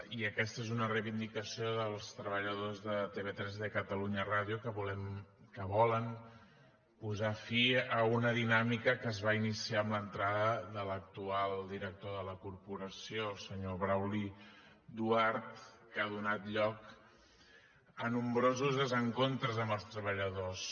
i aquesta és una reivindicació dels treballadors de tv3 i de catalunya ràdio que volen posar fi a una dinàmica que es va iniciar amb l’entrada de l’actual director de la corporació el senyor brauli duart que ha donat lloc a nombrosos desencontres amb els treballadors